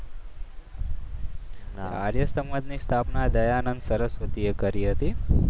આર્ય સમાજની સ્થાપના દયાનંદ સરસ્વતીએ કરી હતી.